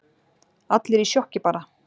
Allir í sjokki bara.